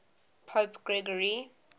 pope gregory